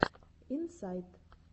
инсайд